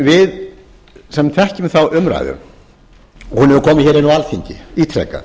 við sem þekkjum þá umræðu hún hefur komið hér inn á alþingi ítrekað